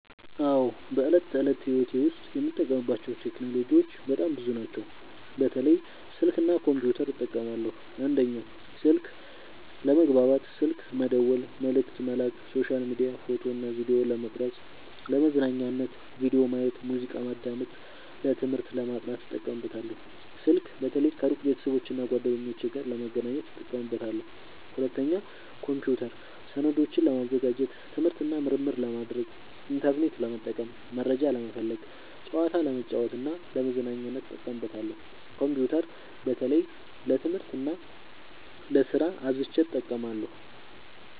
አዎ፣ በዕለት ተዕለት ሕይወቴ ዉስጥ የምጠቀምባቸው ቴክኖሎጂዎች በጣም ብዙ ናቸው፣ በተለይ ስልክ እና ኮምፒውተር እጠቀማለሁ። 1. ስልክ፦ ለመግባባት (ስልክ መደወል፣ መልዕክት መላክ)፣ሶሻል ሚዲያ፣ ፎቶ እና ቪዲዮ ለመቅረጵ፣ ፣ለመዝናኛነት(ቪዲዮ ማየት፣ ሙዚቃ ማዳመጥ)፣ ለትምህርት(ለማጥናት) እጠቀምበታለሁ። ስልክ በተለይ ከሩቅ ቤተሰቦቼና እና ጓደኞቼ ጋር ለመገናኘት እጠቀምበታለሁ። 2. ኮምፒውተር፦ ሰነዶችን ለማዘጋጀት፣ ትምህርት እና ምርምር ለማድረግ፣ ኢንተርኔት ለመጠቀም (መረጃ ለመፈለግ)፣ ጨዋታ ለመጫወት እና ለመዝናኛነት እጠቀምበታለሁ። ኮምፒውተር በተለይ ለትምህርት እና ለስራ አብዝቸ እጠቀማለሁ።